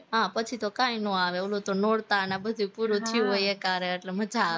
હા પછી તો કાઈ નો આવે, ઓલું તો નોરતા ને આ બધું પૂરું થયું હોય એકારે એટલે મજા આવે